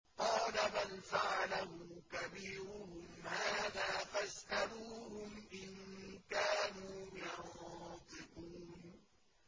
قَالَ بَلْ فَعَلَهُ كَبِيرُهُمْ هَٰذَا فَاسْأَلُوهُمْ إِن كَانُوا يَنطِقُونَ